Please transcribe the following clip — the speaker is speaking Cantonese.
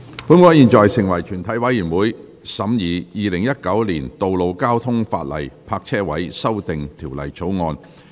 本會現在成為全體委員會，審議《2019年道路交通法例條例草案》。